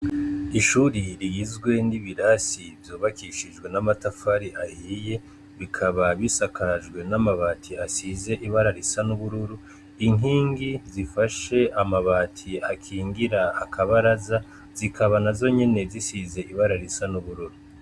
Ishure rigizwe n' ibirasi vyubakishijwe n' amatafari ahiye, bikaba bisakajwe n' amabati asize ibara risa n' ubururu , inkingi zifashe amabati akingira akabaraza zikaba nazo nyene zisize ibara risa n' ubururu.